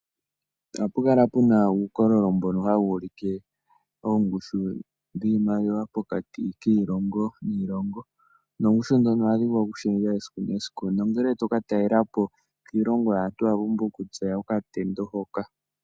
Ohapu kala puna uukololo mbono hawu ulike oongushu dhiimaliwa pokati kiilongo niilongo, noongushu ndhono ohadhi vulu okushendja esiku nesiku, nongele toka talela po iilongo yaantu owa pumbwa okutseya okatendo hoka.